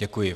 Děkuji.